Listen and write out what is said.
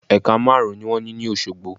Ẹ̀ka márùn ún ni wón ní ní Òsogbo